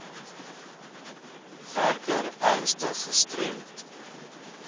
werker ernstig gestremd